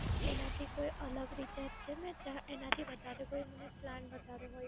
એનાથી કોઈ અલગ Recharge છે મે ચા એનાથી વધારે કોઈ મને Plan બતાવ્યો હોય.